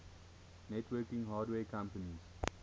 networking hardware companies